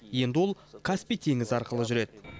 енді ол каспий теңізі арқылы жүреді